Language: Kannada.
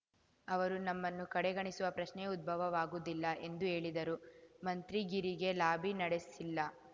ಅವರು ನಮ್ಮನ್ನು ಕಡೆಗಣಿಸುವ ಪ್ರಶ್ನೆಯೇ ಉದ್ಭವವಾಗುವುದಿಲ್ಲ ಎಂದು ಹೇಳಿದರು ಮಂತ್ರಿಗಿರಿಗೆ ಲಾಬಿ ನಡೆಸಿಲ್ಲ